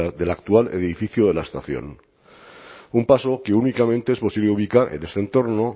del actual edificio de la estación un paso que únicamente es posible ubicar en este entorno